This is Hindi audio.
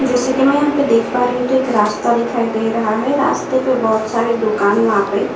जैसे कि मैं यहाँ पे देख पा रही हूं तो एक रास्ता दिखाई दे रहा है रास्ते पे बोहोत सारी दुकान वहां पे--